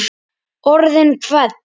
Orðin hvell.